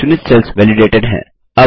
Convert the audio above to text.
चुनित cells validated हैं